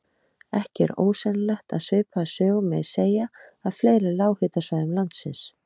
Ekki er ósennilegt að svipaða sögu megi segja af fleiri lághitasvæðum landsins.